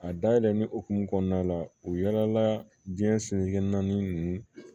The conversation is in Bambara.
A dayɛlɛlen hokumu kɔnɔna la u yaala diɲɛ sinikɛnɛ ninnu